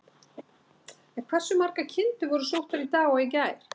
En hversu margar kindur voru sóttar í dag og í gær?